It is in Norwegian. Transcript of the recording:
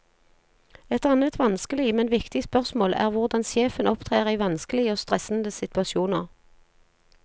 Et annet vanskelig, men viktig spørsmål er hvordan sjefen opptrer i vanskelige og stressende situasjoner.